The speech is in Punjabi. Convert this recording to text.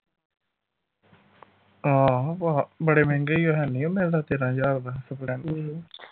ਹਾਂ ਭਾ ਬੜੇ ਮਹਿੰਗੇ ਈ ਆ ਹੈਨੀ ਉਹ ਮਿਲਦਾ ਤੇਰਾ ਹਜਾਰ ਦਾ splendor